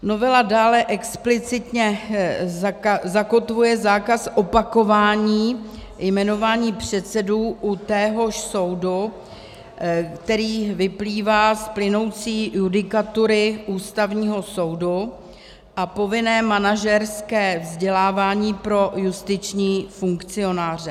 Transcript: Novela dále explicitně zakotvuje zákaz opakování jmenování předsedů u téhož soudu, který vyplývá z plynoucí judikatury Ústavního soudu, a povinné manažerské vzdělávání pro justiční funkcionáře.